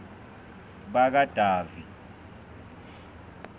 bakadavi